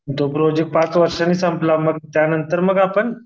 तो प्रोजेक्ट पाच वर्षाने संपला मग त्यांनतर मग आपण